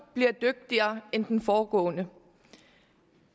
bliver dygtigere end den foregående